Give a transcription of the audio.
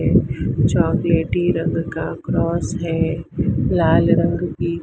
ये चॉकलेटी रंग का क्रॉस है लाल रंग की--